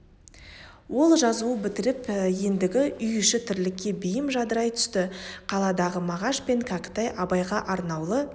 ол жазуын бітіріп ендігі үй іші тірлікке бейім жадырай түсті қаладағы мағаш пен кәкітай абайға арнаулы